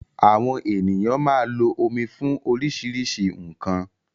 Àwọn ènìyàn máa lo omi fún oríṣiríṣi nkan